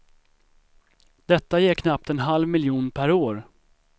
Detta ger knappt en halv miljon per år.